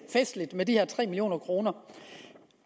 festligt med de her tre million kroner